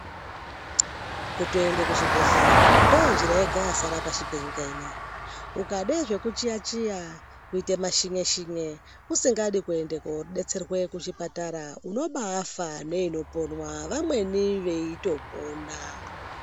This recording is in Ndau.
Kutoenda kuzvibhedhleya ndonjira yega yasara pashi penyika inei ukande zvekuchiya chiya kuite mashinye shinye usingadi kodetserwe kuchipatara unobaafa neinoponzwa vamweni veitopona.